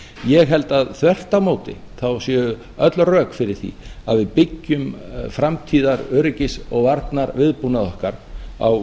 ég held að þvert á móti þá séu öll rök fyrir því að við byggjum framtíðaröryggis og varnarviðbúnað okkar á